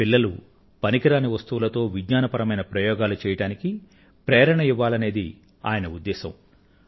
పిల్లలు పనికిరాని వస్తువులతో విజ్ఞానపరమైన ప్రయోగాలు చెయ్యడానికి ప్రేరణను ఇవ్వాలనేది ఆయన ఉద్దేశం